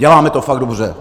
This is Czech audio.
Děláme to fakt dobře!